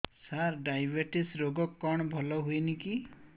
ସାର diabetes ରୋଗ କଣ ଭଲ ହୁଏନି କି